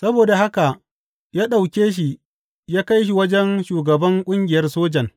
Saboda haka ya ɗauke shi ya kai wajen shugaban ƙungiyar sojan.